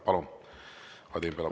Palun, Vadim Belobrovtsev!